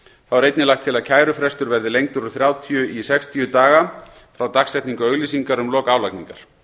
er einnig lagt til að kærufrestur verði lengdur úr þrjátíu dögum í sextíu daga frá dagsetningu auglýsingar um lok álagningar